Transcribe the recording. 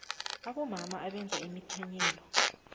abomama abenza imithanyelo